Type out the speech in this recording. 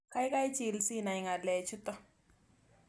Kaikai chil sinai ng'alek chutok